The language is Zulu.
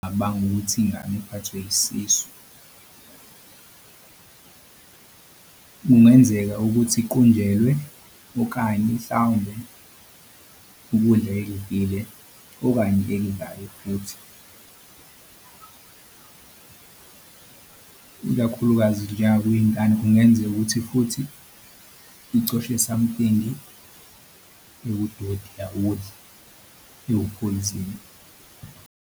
Cabanga ukuthi ingane iphathwe isisu, kungenzeka ukuthi iqunjelwe okanye hlawumbe ukudla ekudlile okanye futhi ikakhulukazi njengakwingane kungenzeka ukuthi futhi icoshe something ewudoti yawudla iwuphoyizeni.